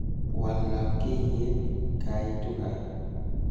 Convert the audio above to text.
Wal labkayet kaitu kaa